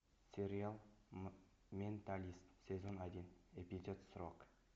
сериал менталист сезон один эпизод сорок